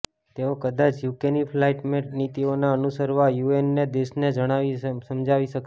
તેઓ કદાચ યુકેની ક્લાઈમેટ નીતિઓને અનુસરવા યુએનના દેશોને સમજાવી શકશે